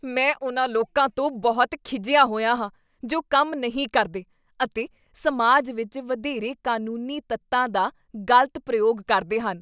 ਮੈਂ ਉਨ੍ਹਾਂ ਲੋਕਾਂ ਤੋਂ ਬਹੁਤ ਖਿਝਿਆ ਹੋਇਆ ਹਾਂ ਜੋ ਕੰਮ ਨਹੀਂ ਕਰਦੇ ਅਤੇ ਸਮਾਜ ਵਿੱਚ ਵਧੇਰੇ ਕਾਨੂੰਨੀ ਤੱਤਾਂ ਦਾ ਗ਼ਲਤ ਪ੍ਰਯੋਗ ਕਰਦੇ ਹਨ।